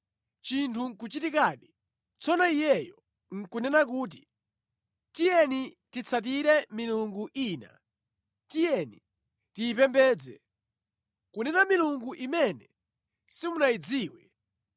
chinthu nʼkuchitikadi, tsono iyeyo nʼkunena kuti, “Tiyeni titsatire milungu ina, tiyeni tiyipembedze,” (kunena milungu imene simunayidziwe),